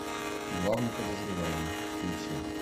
главный подозреваемый включи